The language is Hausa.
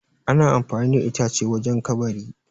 ana amfani da ita ce wajen kabari